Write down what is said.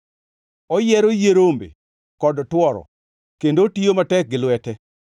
Oyiero yie rombe kod tworo kendo otiyo matek gi lwete.